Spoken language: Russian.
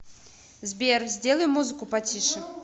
сбер сделай музыку потише